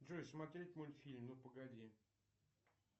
джой смотреть мультфильм ну погоди